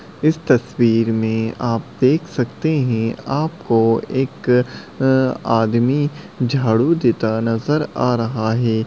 इस तस्वीर में आप देख सकते हैं आपको एक अ आदमी झाड़ू देता नज़र आ रहा है।